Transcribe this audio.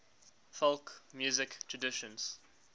folk music traditions